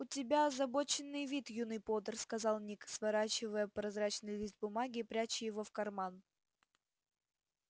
у тебя озабоченный вид юный поттер сказал ник сворачивая прозрачный лист бумаги и пряча его в карман